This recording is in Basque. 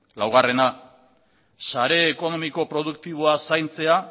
laugarrena sare ekonomiko produktiboa zaintzea